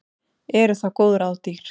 Eru þá góð ráð dýr.